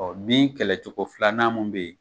Ɔ bin kɛlɛ cogo filanan mun be yen